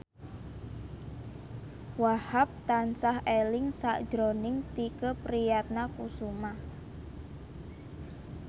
Wahhab tansah eling sakjroning Tike Priatnakusuma